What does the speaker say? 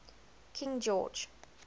king george